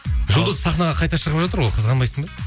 жұлдыз сахнаға қайта шығып жатыр ғой қызғанбайсың ба